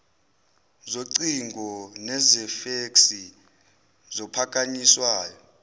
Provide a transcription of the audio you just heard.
zocingo nezefeksi zophakanyiswayo